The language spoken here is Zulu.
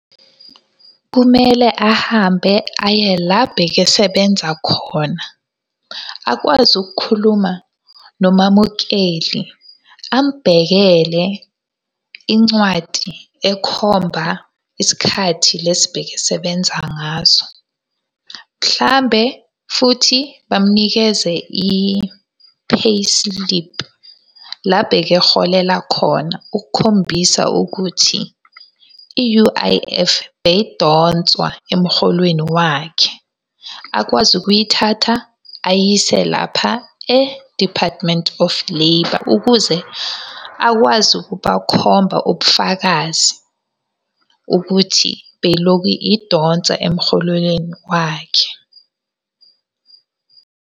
Kumele ahambe aye la bekesebenza khona. Akwazi ukukhuluma nomamukeli amubhekele incwadi ekhomba isikhathi lesi bekesebenza ngaso. Mhlambe futhi bamunikeze i-payslip la bekeholela khona ukukhombisa ukuthi i-U_I_F beyidonswa emholweni wakhe. Akwazi ukuyithatha, ayise lapha e-Department of Labour, ukuze akwazi ukubakhomba ubufakazi ukuthi beyilokhu idonsa emholweni wakhe.